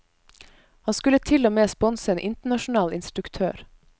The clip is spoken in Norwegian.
Han skulle til og med sponse en internasjonal instruktør.